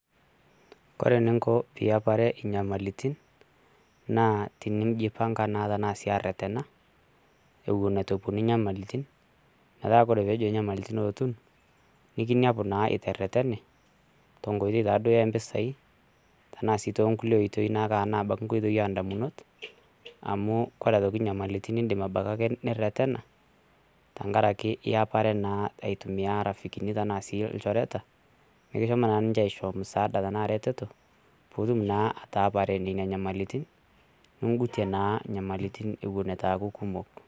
Kore eninko piiapare inyamalitin naa tininjipanga tanaa sii aretena ewon etu eponu onyamalitin, metaa tenejo inyamlitin eotun, nikiniapu naa iteretene tonkoitoi taado empisai tenaa sii too nkule oitoi anaake to nkoitoi oo indamunot amu kore aitoki inyamilitin iindim abaki ake niretena teng'araki iapare naa aitumiya rafikini tanaa sii ilchoreta mikishomo naa si ninche aichoo msaada tanaa ereteto piitum naa ataapare nenia inyamalitin ning'utie naa inyamalitin ewon etu eaku kumok.